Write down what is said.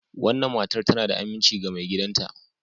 wannan matar tana da aminci ga maigidanta.